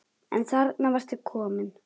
En þarna varstu komin!